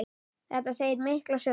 Þetta segir mikla sögu.